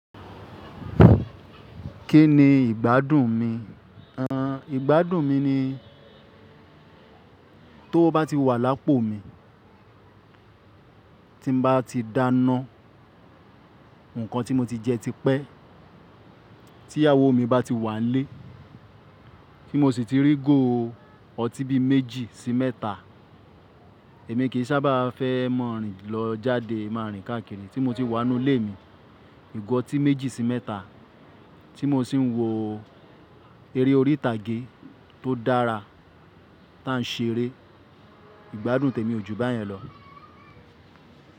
Kí ni ìgbádùn mi? Ìgbádùn mi ni tó bá ti wà lápò mi, tí bá ti dáná, nǹkan tí mo ti jẹ ti pẹ́, tí ìyàwó mi bá ti wà lé, kí mò sì ti rí góò ọtí bí méjì sí mẹ́ta. Èmi kì í sábà fẹ́ mọ̀-ń-rìn lọ jáde máa rìn káàkiri tí mò ti wà nínú ilé mi. Igo ọtí méjì sí mẹ́ta tí mò sì ń wo eré orí ìtàgé tó dára táà ń ṣe eré. Ìgbádùn tèmi ò ju báyẹn lọ.